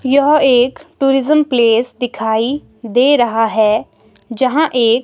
यह एक tourism place दिखाई दे रहा है जहां एक।